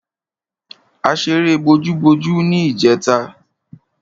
A ṣeré bojúbojú ní ìjẹta.